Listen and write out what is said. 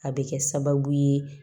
A bɛ kɛ sababu ye